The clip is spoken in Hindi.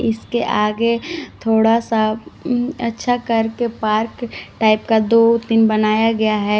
इसके आगे थोड़ा सा अच्छा कर के पार्क टाइप का दो तीन बनाया गया है।